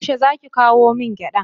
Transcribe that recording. Yaushe zaki kawo min gyada?